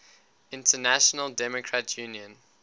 international democrat union